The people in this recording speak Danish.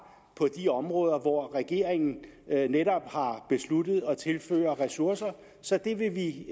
på de områder hvor regeringen netop har besluttet at tilføre ressourcer så det vil